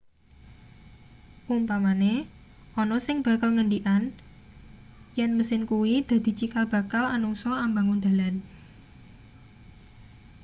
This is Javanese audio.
umpamane ana sing bakal ngendikan yen mesin kuwi dadi cikal bakal anungsa ambangun dalan